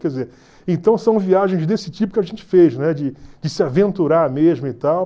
Quer dizer, então são viagens desse tipo que a gente fez, né, de de se aventurar mesmo e tal.